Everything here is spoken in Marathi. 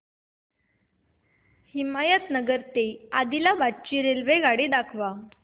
हिमायतनगर ते आदिलाबाद ची रेल्वेगाडी दाखवा